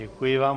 Děkuji vám.